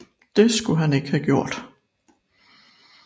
Det skulle han ikke have gjort